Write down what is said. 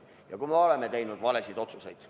Ja me oleme teinud valesid otsuseid.